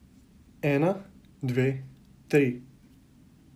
Ena, dve, tri.